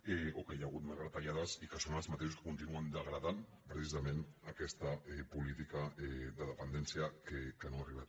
o que hi ha hagut més retallades i que són els mateixos que continuen degradant precisament aquesta política de dependència que no ha arribat